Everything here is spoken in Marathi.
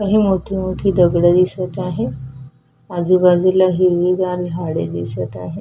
काही मोठी मोठी दगड दिसत आहे आजूबाजूला हिरवीगार झाडे दिसत आहे.